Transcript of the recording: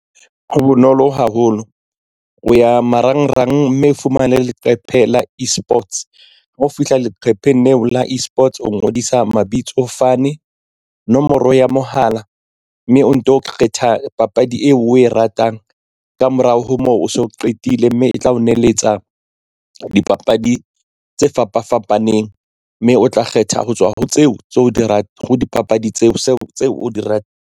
Ho bonolo haholo o ya marangrang mme o fumane leqephe la eSports ha o fihla leqhepeng leo la eSports o ngodisa mabitso fane nomoro ya mohala mme o nto kgetha papadi eo o e ratang ka morao ho moo o so qetile mme e tla o neletsa dipapadi tse fapa fapaneng mme o tla kgetha ho tswa ho tseo tse o di .